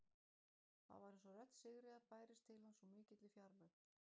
Það var eins og rödd Sigríðar bærist til hans úr mikilli fjarlægð.